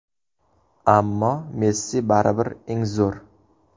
Ammo Messi baribir eng zo‘r.